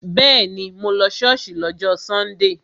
Bẹ́ẹ̀ni, mo lọ ṣọ́ọ̀ṣì lọ́jọ́ sọ́ndè